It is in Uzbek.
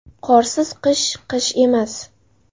Qorsiz qish qish emas.